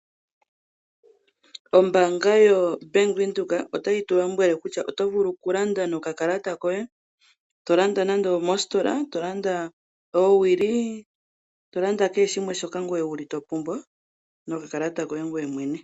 Ombanga yaVenduka otayi tu lombwele nokutya oto vulu okulanda nokakalata koye tolanda nande omositola ,tolanda oowili tolanda kehe shimwe shoka wuli topumbwa nokakalata koye ngoye mwene.